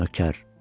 Nökər,